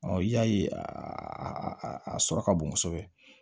i y'a ye a sɔrɔ ka bon kosɛbɛ